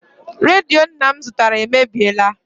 Redio nna m zụtara emebiela.